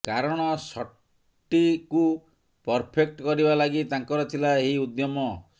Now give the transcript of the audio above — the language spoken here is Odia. କାରଣ ସଟଟିକୁ ପରଫେକ୍ଟ କରିବା ଲାଗି ତାଙ୍କର ଥିଲା ଏହି ଉଦ୍ୟମ